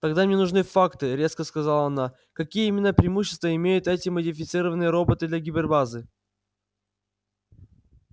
тогда мне нужны факты резко сказала она какие именно преимущества имеют эти модифицированные роботы для гипербазы